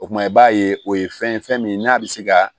O kumana i b'a ye o ye fɛn ye fɛn min n'a bɛ se ka